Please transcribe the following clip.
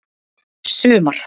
sumar